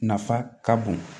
Nafa ka bon